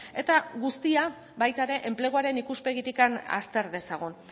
eta guztia baita ere enpleguaren ikuspegitik azter dezagun